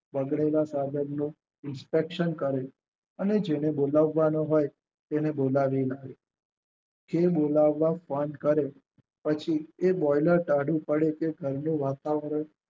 બગડેલા સાધનનો inspection કરે અને જેને બોલાવવાના હોય એને બોલાવેલા હોય. જે બોલાવવા ફોન કરે એ બોઈલર ટાઢું પડે કે ઘરનું વાતાવર